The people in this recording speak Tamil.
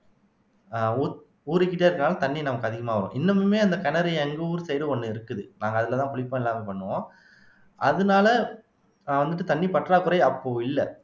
ஆஹ் ஊ ஊறிக்கிட்டே இருக்கிறதுனால தண்ணி நமக்கு அதிகமா வரும் இன்னமுமே அந்த கிணறு எங்க ஊர் side ஒண்ணு இருக்குது நாங்க அதுலதான் குளிப்போம் எல்லாமே பண்ணுவோம் அதனால வந்துட்டு தண்ணி பற்றாக்குறை அப்போ இல்ல